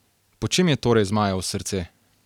Po čem je torej zmajevo srce?